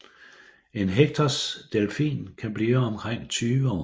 En Hectors delfin kan blive omkring 20 år